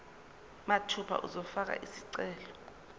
mathupha uzofaka isicelo